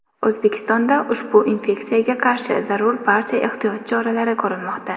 O‘zbekistonda ushbu infeksiyaga qarshi zarur barcha ehtiyot choralari ko‘rilmoqda.